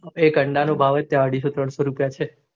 એક અંડા નો ભાવ ત્યાં અઢીસો ત્રણસો રૂપિયા છે